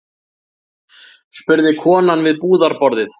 spurði konan við búðarborðið.